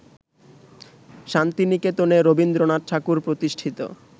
শান্তিনিকেতনে রবীন্দ্রনাথ ঠাকুর প্রতিষ্ঠিত